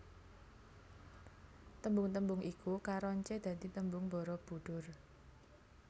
Tembung tembung iku karoncé dadi tembung Barabudhur